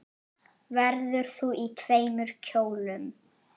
Verður þú í tveimur kjólum?